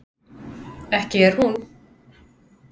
ekki er hún